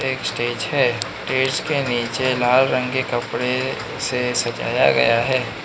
एक स्टेज है। स्टेज के नीचे लाल रंग के कपड़े से सजाया गया है।